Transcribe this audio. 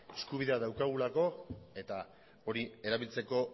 eskubidea daukagulako eta hori erabiltzeko